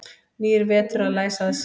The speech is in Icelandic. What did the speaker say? Nýr vetur að læsa að sér.